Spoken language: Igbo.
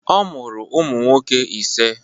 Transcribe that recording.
Ọ mụrụ ụmụ nwoke ise.